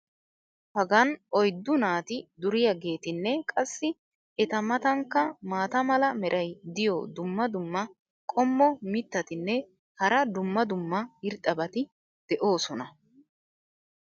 Hagan oyddu naati duriyaageetinne qassi eta matankka maata mala meray diyo dumma dumma qommo mitattinne hara dumma dumma irxxabati de'oosona.